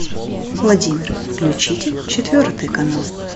владимир включите четвертый канал